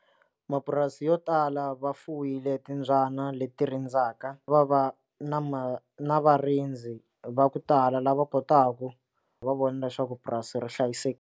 Mapurasi yo tala va fuwile timbyana leti rindzaka va va na ma na varindzi va ku tala lava kotaka va vona leswaku purasi ri .